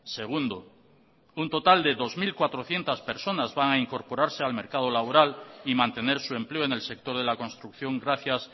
segundo un total de dos mil cuatrocientos personas va a incorporarse al mercado laboral y mantener su empleo en el sector de la construcción gracias